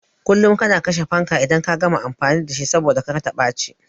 Kullum kana kashe fankan idan ka gama amfani da shi saboda kar ta ɓaci